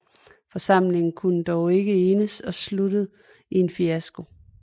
Forsamlingen kunne dog ikke enes og sluttede i en fiasko